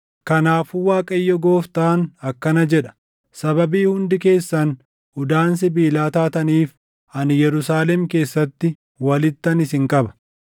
Kanaafuu Waaqayyo gooftaan akkana jedha: ‘Sababii hundi keessan udaan sibiilaa taataniif, ani Yerusaalem keessatti walittan isin qaba.